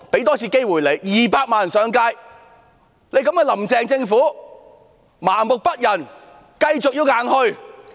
當天有200萬人上街，但"林鄭"政府仍麻木不仁，繼續硬推。